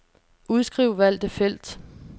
Udskriv valgte felt.